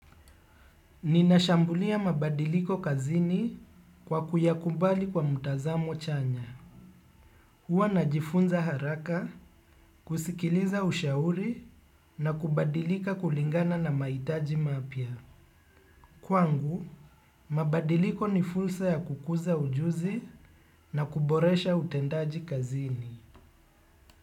Ninashambulia mabadiliko kazini kwa kuyakubali kwa mutazamo chanya. Huwa najifunza haraka, kusikiliza ushauri na kubadilika kulingana na mahitaji mapya. Kwangu, mabadiliko ni fulsa ya kukuza ujuzi na kuboresha utendaji kazini.